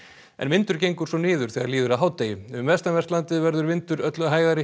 en vindur gengur svo niður þegar líður að hádegi um vestanvert landið verður vindur öllu hægari